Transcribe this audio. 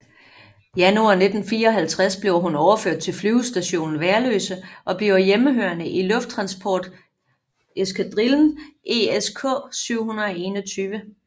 Januar 1954 bliver hun overført til Flyvestation Værløse og bliver hjemmehørende i lufttransporteskadrillen ESK 721